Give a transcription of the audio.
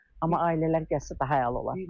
Amma ailələr gəlsə, daha əla olar.